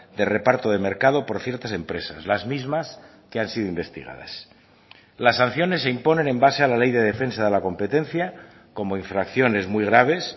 de reparto de mercado por ciertas empresas las mismas que han sido investigadas las sanciones se imponen en base a la ley de defensa de la competencia como infracciones muy graves